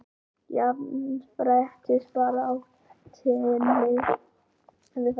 Jafnréttisbaráttunni hafi farið aftur